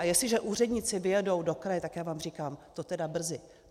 A jestliže úředníci vyjedou do kraje, tak já vám říkám, to teda brzy.